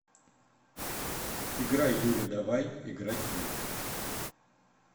игра юля давай играть в